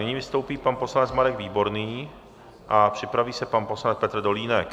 Nyní vystoupí pan poslanec Marek Výborný a připraví se pan poslanec Petr Dolínek.